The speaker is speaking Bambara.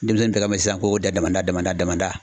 Denmisɛnnin bɛɛ ka sisan ko damada damada damada